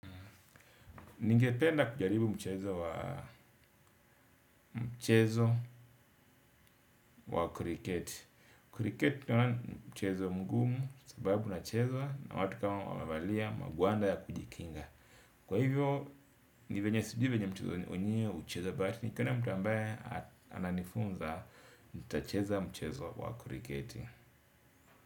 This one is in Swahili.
Ningependa kujaribu mchezo wa mchezo wa kuriketi. Kuriketi naona ni mchezo mgumu sababu unachezwa na watu kama wamevalia magwanda ya kujikinga. Kwa hivyo ni vyenye sijui vyenye mchezo wenyewe huchezwa but nikiona mtu ambaye ananifunza nitacheza mchezo wa kuriketi.